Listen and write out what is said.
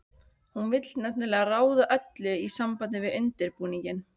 Hún vill nefnilega ráða öllu í sambandi við undirbúninginn.